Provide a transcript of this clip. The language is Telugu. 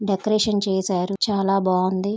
డెకరేషన్ చేశారు చాలా బావుంది.